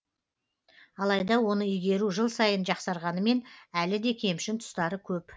алайда оны игеру жыл сайын жақсарғанымен әлі де кемшін тұстары көп